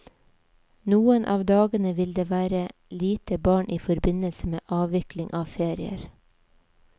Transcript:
Noen av dagene vil det være lite barn i forbindelse med avvikling av ferier.